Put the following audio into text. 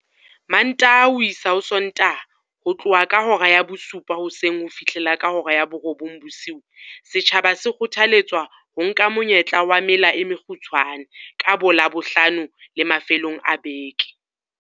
Mantaha ho isa Sontaha ho tloha ka hora ya bosupa hoseng ho fihlela ka hora ya borobong bosiu, setjhaba se kgothaletswa ho nka monyetla wa mela e mekgutshwane ka boLabohlano le mafelong a beke.